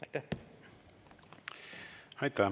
Aitäh!